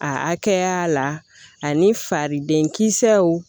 A hakɛya la ani fariden kisɛw